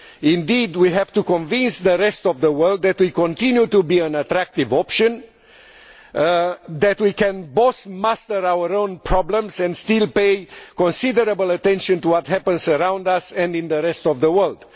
Indeed we have to convince the rest of the world that we continue to be an attractive option, that we can both master our own problems and still pay considerable attention to what happens around us and in the rest of the world.